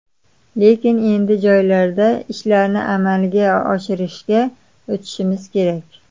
Lekin endi joylarda ishlarni amalga oshirishga o‘tishimiz kerak.